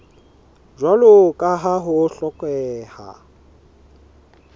jwalo ka ha ho hlokeha